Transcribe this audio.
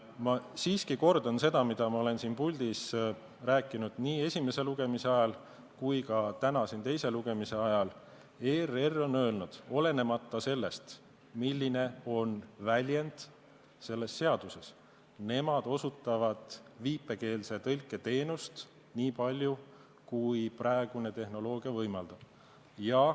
Ma siiski kordan seda, mida ma olen siin puldis rääkinud nii esimese lugemise ajal kui ka täna siin teise lugemise ajal: ERR on öelnud, et olenemata sellest, milline on väljend selles seaduses, osutavad nad viipekeeletõlke teenust nii palju, kui praegune tehnoloogia võimaldab.